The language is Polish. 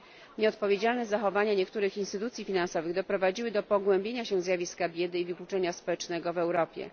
Nieodpowiedzialne zachowania niektórych instytucji finansowych doprowadziły do pogłębienia się zjawiska biedy i wykluczenia społecznego w Europie.